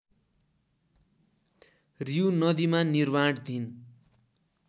रिउ नदीमा निर्माणधीन